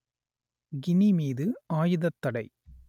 Guinea மீது ஆயுதத்தடை